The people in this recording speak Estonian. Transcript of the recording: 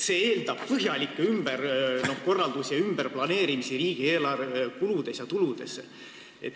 See eeldab põhjalikke ümberkorraldusi ja ümberplaneerimisi riigieelarve kuludes ja tuludes.